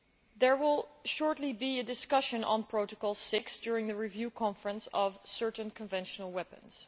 There will shortly be a discussion on Protocol VI during the Review Conference of Certain Conventional Weapons.